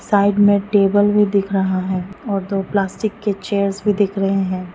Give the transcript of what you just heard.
Side में table भी दिख रहा है और दो प्लास्टिक के चेयर्स भी दिख रहे हैं।